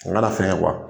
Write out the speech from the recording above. O kana fɛn kɛ